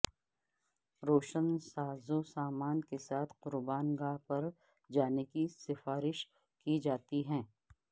روشن سازوسامان کے ساتھ قربان گاہ پر جانے کی سفارش کی جاتی ہے